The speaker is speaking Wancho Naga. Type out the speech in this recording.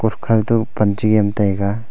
ukho to pan chu niam taiga.